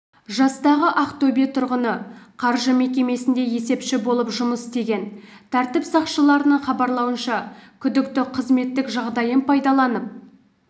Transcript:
жастағы ақтөбе тұрғыны қаржы мекемесінде есепші болып жұмыс істеген тәртіп сақшыларының хабарлауынша күдікті қызметтік жағдайын пайдаланып